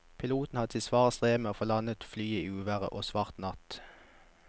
Piloten hadde sitt svare strev med å få landet flyet i uvær og svart natt.